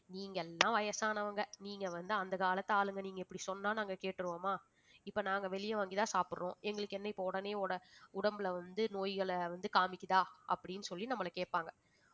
நீங்க எல்லாம் வயசானவங்க நீங்க வந்து அந்த காலத்து ஆளுங்க நீங்க இப்படி சொன்னா நாங்க கேட்டுருவோமா இப்ப நாங்க வெளிய வாங்கிதான் சாப்பிடுறோம் எங்களுக்கு என்ன இப்ப உடனே ஓட உடம்புல வந்து நோய்களை வந்து காமிக்குதா அப்படின்னு சொல்லி நம்மளை கேட்பாங்க